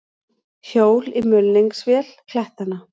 Hjól í mulningsvél klettanna.